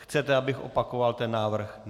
Chcete, abych opakoval ten návrh?